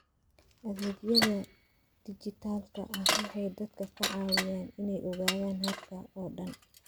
Adeegyada dijitaalka ah waxay dadka ka caawiyaan inay ogaadaan habka oo dhan.